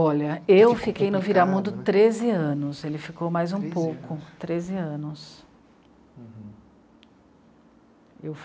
Olha, eu fiquei no Viramundo treze anos, ele ficou mais um pouco. Treze anos? Treze anos. Uhum.